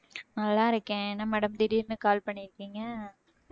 நல்லா இருக்கேன் என்ன madam திடீர்ன்னு call பண்ணியிருக்கீங்க